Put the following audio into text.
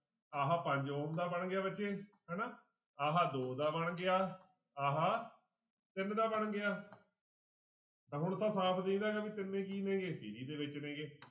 ਆਹ ਪੰਜ ਬਣ ਗਿਆ ਬੱਚੇ ਹਨਾ ਆਹ ਦੋ ਦਾ ਬਣ ਗਿਆ ਆਹ ਤਿੰਨ ਦਾ ਬਣ ਗਿਆ ਤਾਂ ਹੁਣ ਤਾਂ ਸਾਫ਼ ਦਿੰਹਦਾ ਇਹ ਤਿੰਨੇ ਕੀ ਨੇਗੇ ਦੇ ਵਿੱਚ ਨੇਗੇ